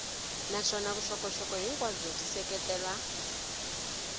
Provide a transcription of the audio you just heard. naswona vuxokoxoko hinkwabyo byi seketela